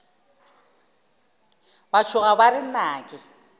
ba tšhoga ba re nnake